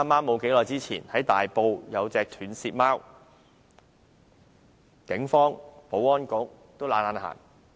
不久前，在大埔發現一隻斷舌貓，警方和保安局均懶得理會。